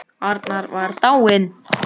Svo segir í Egils sögu